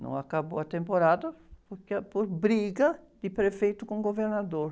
Não acabou a temporada porque, ah, por briga de prefeito com governador.